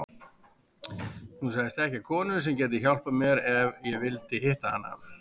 Hún sagðist þekkja konu sem gæti hjálpað mér ef ég vildi hitta hana.